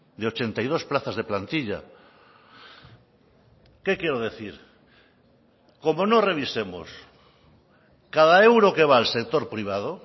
de ochenta y dos plazas de plantilla qué quiero decir como no revisemos cada euro que va al sector privado